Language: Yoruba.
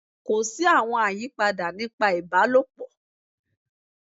Ko si awọn ayipada nipa ibalopọ